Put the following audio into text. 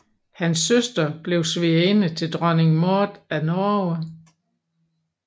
Hans søster blev svigerinde til dronning Maud af Norge